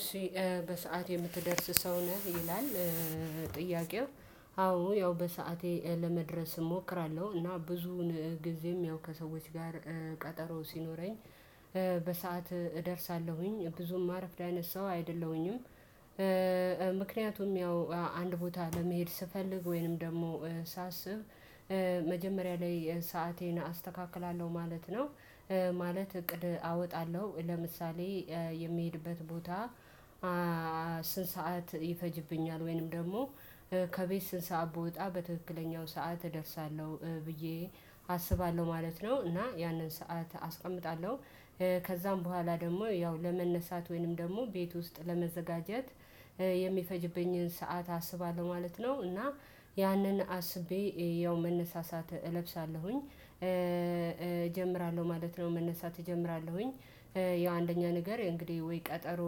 እሺ በሰአት የምትደርስ ሰው ነህ ይላል? ጥያቄው አዎ ያው በሰአቴ ለመድረስ እሞክራለሁ እና ብዙውን ጊዜም ያው ከሰዎች ጋር ቀጠሮ ሲኖረኝ በሰአት እደርሳለሁኝ ብዙም ማረፍድ አይነት ሰው አይደለሁኝም። ምክንያቱም ያው አንድ ቦታ ለመሄድ ስፈልግ ወይንም ደግሞ ሳስብ መጀመሪያ ላይ ሰአቴን አስተካክላለሁ ማለት ነው። ማለት እቅድ አወጣለሁ ለምሳሌ የሚሄድበት ቦታ? ስንት ሰዓት ይፈጅብኛል ወይንም ደግሞ ከቤት ስንት ሰዓት ብወጣ በትክክለኛው ሰዓት እደርሳለሁ? ብዬ አስባለሁ ማለት ነው እና ያንን ሰዓት አስቀምጣለሁ። ከዛም በኋላ ደግሞ ያው ለመነሳት ወይንም ደግሞ ቤት ውስጥ ለመዘጋጀት የሚፈጅብኝን ሰዓት አስባለሁ ማለት ነው። እና ያንን አስቤ ያው መነሳሳት እለብሳለሁኝ እጀምራለሁ ማለት ነው። መነሳት እጀምራለሁኝ ያው አንደኛ ነገር እንግዲህ ወይ ቀጠሮ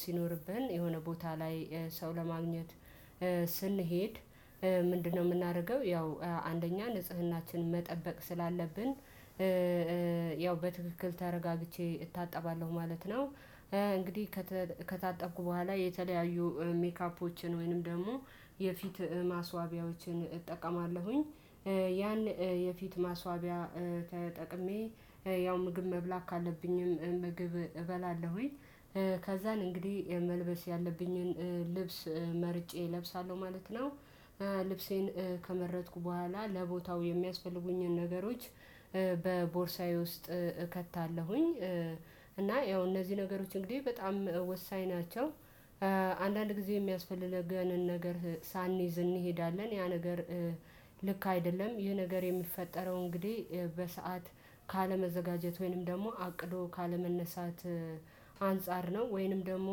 ሲኖርብን የሆነ ቦታ ላይ ሰው ለማግኘት። ስንሄድ ምንድነው የምናደርገው? ያው አንደኛ ንጽህናችን መጠበቅ ስላለብን ያው በትክክል ተረጋግቼ እታጠባለሁ ማለት ነው። እንግዲህ ከታጠቅኩ በኋላ የተለያዩ ሜካፖችን ወይንም ደግሞ የፊት ማስዋቢያዎችን እጠቀማለሁኝ። ያን የፊት ማስዋቢያ ተጠቅሜ ያው ምግብ መብላት ካለብኝም ምግብ እበላለሁኝ ከዛን እንግዲህ መልበስ ያለብኝን ልብስ መርጬ እለብሳለሁ ማለት ነው። ልብሴን ከመረጥኩ በኋላ ለቦታው የሚያስፈልጉኝን ነገሮች በቦርሳዬ ውስጥ እከታለሁኝ። እና ያው እነዚህ ነገሮች እንግዲህ በጣም ወሳኝ ናቸው። አንዳንድ ጊዜ የሚያስፈልገንን ነገር ሳንይዝ እንሄዳለን ያ ነገር ልክ አይደለም። ይህ ነገር የሚፈጠረው እንግዲህ በሰአት ካለመዘጋጀት ወይንም ደግሞ አቅዶ ካለመነሳት አንፃር ነው። ወይንም ደግሞ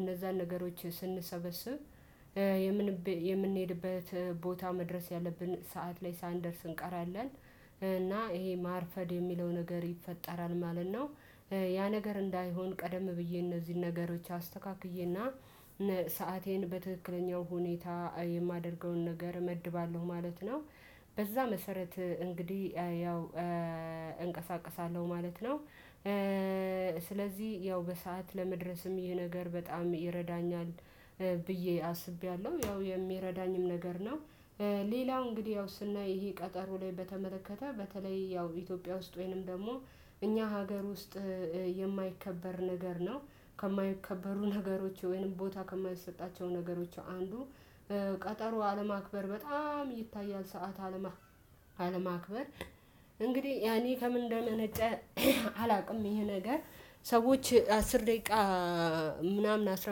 እነዛን ነገሮች ስንሰበስብ የምንሄድበት ቦታ መድረስ ያለብን ሰዓት ላይ ሳንደርስ እንቀራለን። እና ይሄ ማርፈድ የሚለው ነገር ይፈጠራል ማለት ነው። ያ ነገር እንዳይሆን ቀደም ብዬ እነዚህን ነገሮች አስተካክዬና ሰአቴን በትክክለኛው ሁኔታ የማደርገውን ነገር እመድባለሁ ማለት ነው። በዛ መሰረት እንግዲህ ያው እንቀሳቃሳለሁ ማለት ነው። ስለዚህ ያው በሰአት ለመድረስም ይህ ነገር በጣም ይረዳኛል ብዬ አስቤያለሁ ያው የሚረዳኝም ነገር ነው። ሌላው እንግዲህ ያው ስናይ ይሄ ቀጠሮ ላይ በተመለከተ በተለይ ያው ኢትዮጵያ ውስጥ ወይንም ደግሞ እኛ ሀገር ውስጥ የማይከበር ነገር ነው። ከማይከበሩ ነገሮች ወይንም ቦታ ከማይሰጣቸው ነገሮች አንዱ ቀጠሮ አለማክበር በጣም ይታያል። ሰዓት አለማክበር እንግዲህ ያኔ ከምን እንደመነጨ አላውቅም። ይሄ ነገር ሰዎች አስር ደቂቃ ምናምን አስራ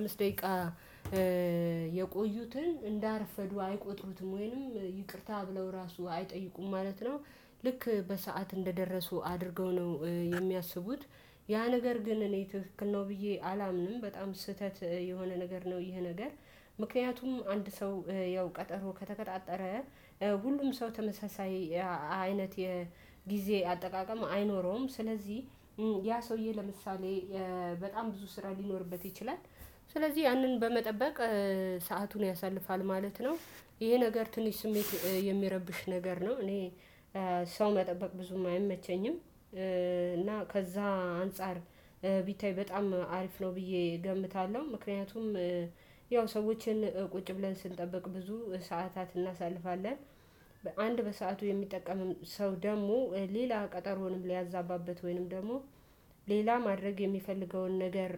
አምስት ደቂቃ የቆዩትን እንዳረፈዱ አይቆጥሩትም ወይንም ይቅርታ ብለው ራሱ አይጠይቁም ማለት ነው። ልክ በሰአት እንደደረሱ አድርገው ነው የሚያስቡት። ያ ነገር ግን እኔ ትክክል ነው ብዬ አላምንም በጣም ስህተት የሆነ ነገር ነው። ይሄ ነገር ምክንያቱም አንድ ሰው ያው ቀጠሮ ከተቀጣጠረ ሁሉም ሰው ተመሳሳይ አይነት የጊዜ አጠቃቀም አይኖረውም። ስለዚህ ያ ሰውዬ ለምሳሌ በጣም ብዙ ስራ ሊኖርበት ይችላል። ስለዚህ ያንን በመጠበቅ ሰአቱን ያሳልፋል ማለት ነው። ይሄ ነገር ትንሽ ስሜት የሚረብሽ ነገር ነው። እኔ ሰው መጠበቅ ብዙም አይመቸኝም እና ከዛ አንፃር ቢታይ በጣም አሪፍ ነው ብዬ እገምታለሁ። ምክንያቱም ያው ሰዎችን ቁጭ ብለን ስንጠብቅ ብዙ ሰዓታትን እናሳልፋለን። በአንድ በሰአቱ የሚጠቀም ሰው ደግሞ ሌላ ቀጠሮንም ሊያዛባበት ወይንም ደግሞ ሌላ ማድረግ የሚፈልገውን ነገር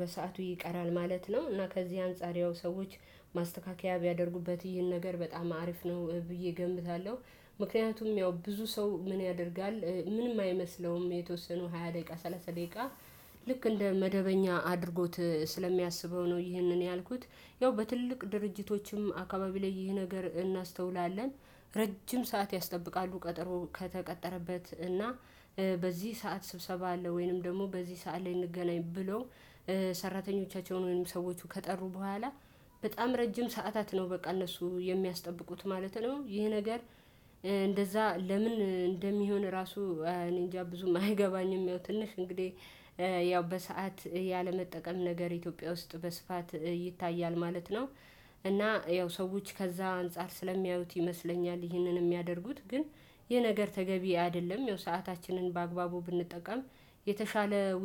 በሰአቱ ይቀራል ማለት ነው። እና ከዚህ አንፃር ያው ሰዎች ማስተካከያ ቢያደርጉበት ይህን ነገር በጣም አሪፍ ነው ብዬ እገምታለሁ። ምክንያቱም ያው ብዙ ሰው ምን ያደርጋል? ምንም አይመስለውም የተወሰኑ ሃያ ደቂቃ ሰላሳ ደቂቃ ልክ እንደ መደበኛ አድርጎት ስለሚያስበው ነው። ይህንን ያልኩት ያው በትልቅ ድርጅቶችም አካባቢ ላይ ይህ ነገር እናስተውላለን። ረጅም ሰዓት ያስጠብቃሉ ቀጠሮ ከተቀጠረበት እና በዚህ ሰዓት ስብሰባ አለ ወይንም ደግሞ በዚህ ሰዓት ላይ እንገናኝ ብሎ። ሰራተኞቻቸውን ወይም ሰዎቹ ከጠሩ በኋላ በጣም ረጅም ሰዓታት ነው በቃ እነሱ የሚያስጠብቁት ማለት ነው። ይሄ ነገር። እንደዛ ለምን? እንደሚሆን ራሱ እኔንጃ ብዙም አይገባኝም። ያው ትንሽ እንግዲህ ያው በሰአት ያለመጠቀም ነገር ኢትዮጵያ ውስጥ በስፋት ይታያል ማለት ነው። እና ያው ሰዎች ከዛ አንፃር ስለሚያዩት ይመስለኛል ይህንን የሚያደርጉት ግን ይህ ነገር ተገቢ አይደለም። ያው ሰአታችንን በአግባቡ ብንጠቀም የተሻለ